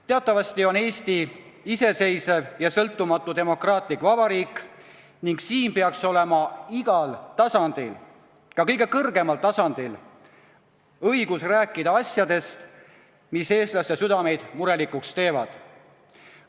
Teatavasti on Eesti iseseisev ja sõltumatu demokraatlik vabariik ning siin peaks olema igal tasandil – ka kõige kõrgemal tasandil – õigus rääkida asjadest, mis eestlaste südameid murelikuks teevad.